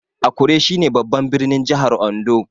Akure shi ne babban birnin jahar Ondo